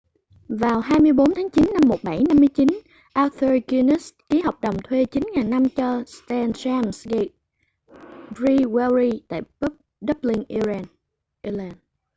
vào 24 tháng chín năm 1759 arthur guinness ký hợp đồng thuê 9.000 năm cho st james' gate brewery tại dublin ireland